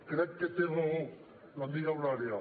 crec que té raó l’amiga eulàlia